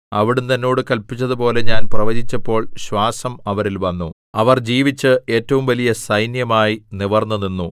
അവിടുന്ന് എന്നോട് കല്പിച്ചതുപോലെ ഞാൻ പ്രവചിച്ചപ്പോൾ ശ്വാസം അവരിൽ വന്നു അവർ ജീവിച്ച് ഏറ്റവും വലിയ സൈന്യമായി നിവിർന്നുനിന്നു